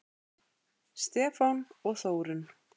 Stefán og Þórunn.